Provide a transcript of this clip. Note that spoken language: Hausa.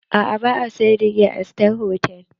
Aa ba a siyar da giya a sitar hotal.